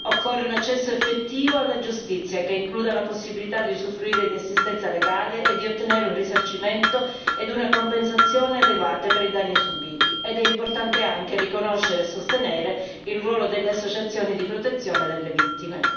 Occorre un accesso effettivo alla giustizia, che includa la possibilità di usufruire di assistenza legale e di ottenere un risarcimento ed una compensazione adeguati per i danni subiti ed è importante anche riconoscere e sostenere il ruolo delle associazioni di protezione delle vittime.